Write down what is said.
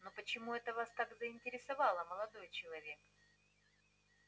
но почему это вас так заинтересовало молодой человек